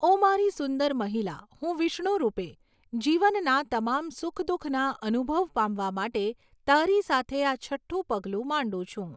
ઓ મારી સુંદર મહિલા, હું વિષ્ણુ રૂપે, જીવનના તમામ સુખ દુઃખના અનુભવ પામવા માટે તારી સાથે આ છઠ્ઠું પગલું માંડું છું.